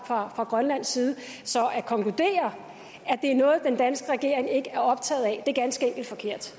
har fra grønlands side så at konkludere at den danske regering ikke er optaget af er jo ganske enkelt forkert